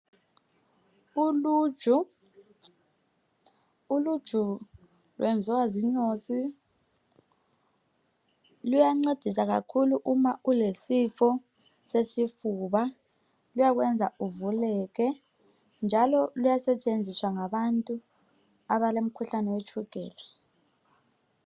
Uluju uluju lwenziwa zinyosi luyangcedisa kakhulu nxa ulesifo sesifuba luyakwenza uvuleke njalo luyasetshenziswa ngabantu abalomkhuhlane wetshukela